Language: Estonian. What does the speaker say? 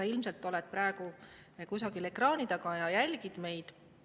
Sa ilmselt oled praegu kusagil ekraani taga ja jälgid meid.